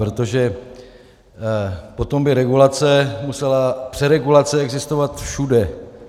Protože potom by regulace musela, přeregulace existovat všude.